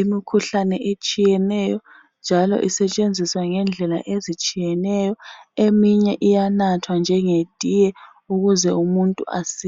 imikhuhlane etshiyeneyo njalo isetshenziswa ngendlela ezitshiyeneyo. Eminye iyanathwa njenge tiye ukuze umuntu asile.